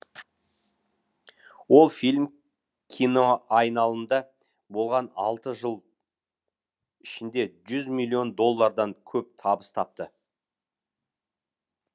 ол фильм киноайналымда болған алты жыл ішінде жүз миллион доллардан көп табыс тапты